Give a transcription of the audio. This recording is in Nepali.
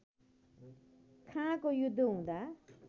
खाँको युद्ध हुँदा